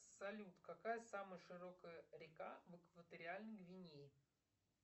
салют какая самая широкая река в экваториальной гвинее